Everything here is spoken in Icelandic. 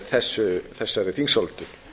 á þessari þingsályktun